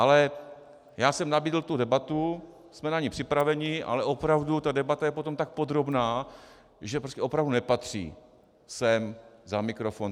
Ale já jsem nabídl tu debatu, jsme na ni připraveni, ale opravdu, ta debata je potom tak podrobná, že opravdu nepatří sem za mikrofon.